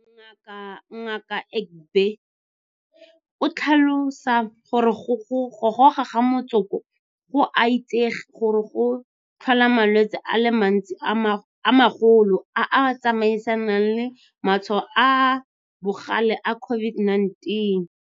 Mo malobeng dilo tseno tsotlhe di ne di diriwa fela mo webesaete.